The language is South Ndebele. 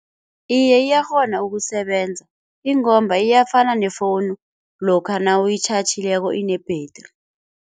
Iye iyakghona ukusebenza, ingomba iyafana nefowunu lokha nawuyitjhatjhileko ine-battery.